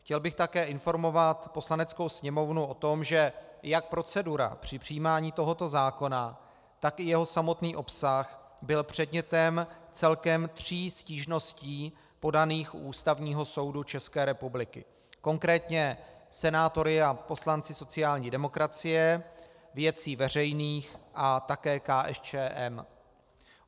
Chtěl bych také informovat Poslaneckou sněmovnu o tom, že jak procedura při přijímání tohoto zákona, tak i jeho samotný obsah byly předmětem celkem tří stížností podaných u Ústavního soudu České republiky, konkrétně senátory a poslanci sociální demokracie, Věcí veřejných a také KSČM.